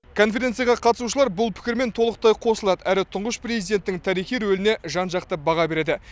конференцияға қатысушылар бұл пікірмен толықтай қосылады әрі тұңғыш президенттің тарихи рөліне жан жақты баға береді